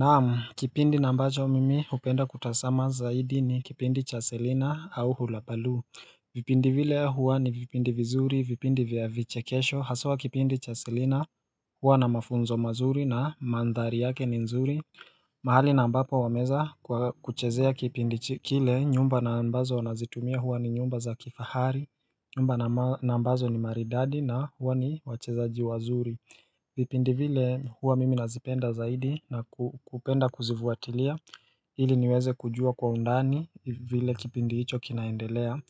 Naam kipindi na ambacho mimi hupenda kutazama zaidi ni kipindi cha Selina au Hulabaloo vipindi vile huwa ni vipindi vizuri vipindi vya vichekesho haswa kipindi cha Selina huwa na mafunzo mazuri na mandhari yake ni nzuri mahali na ambapo wameweza kwa kuchezea kipindi kile nyumba na ambazo wanazitumia huwa ni nyumba za kifahari banama na ambazo ni maridadi na huwa ni wachezaji wazuri vipindi vile huwa mimi nazipenda zaidi na kupenda kuzifuatilia ili niweze kujua kwa undani vile kipindi hicho kinaendelea